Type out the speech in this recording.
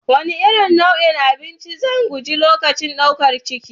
Wane nau'in abinci zan guji lokacin ɗaukar ciki?